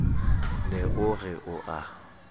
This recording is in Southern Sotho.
ne o re o a